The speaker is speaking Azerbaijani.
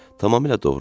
Tamamilə doğrudur.